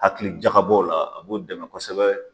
Hakili jakabɔw la a b'o dɛmɛ kosɛbɛ.